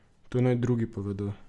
To naj drugi povedo.